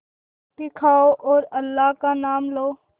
रोटी खाओ और अल्लाह का नाम लो